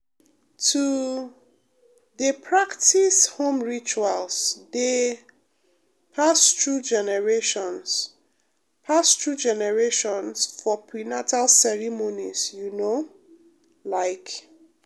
to um dey practice home rituals dey um pass through generations pass through generations for prenatal ceremonies you know like.